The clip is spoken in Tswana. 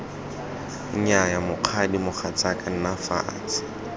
nnyaya mokgadi mogatsaka nna fatshe